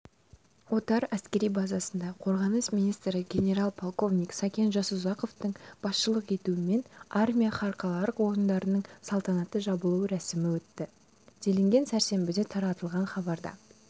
отар әскери базасында қорғаныс министрі генерал-полковник сәкен жасұзақовтың басшылық етуімен армия халықаралық ойындарының салтанатты жабылу рәсімі өтті делінген сәрсенбіде таратылған хабарда